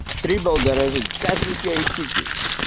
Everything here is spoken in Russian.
трибал дорожит каждой своей китей